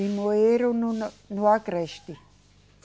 Limoeiro, no, no, no Agreste.